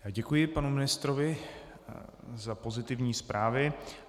Děkuji panu ministrovi za pozitivní zprávy.